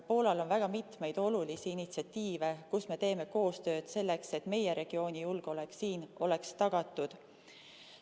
Poolal on väga mitmeid olulisi initsiatiive, kus me teeme koostööd selleks, et meie regiooni julgeolek oleks tagatud.